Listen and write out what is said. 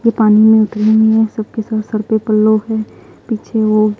ये पानी में उतरी नहीं है सब के सब सर पर पल्लो है पीछे वो--